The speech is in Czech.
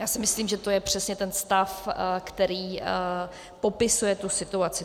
Já si myslím, že to je přesně ten stav, který popisuje tu situaci.